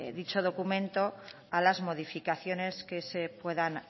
dicho documento a las modificaciones que se puedan